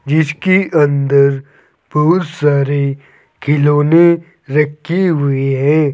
जिसके अंदर बहुत सारे खिलौने रखे हुए हैं।